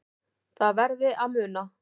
Það verði að muna